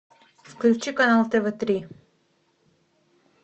включи канал тв три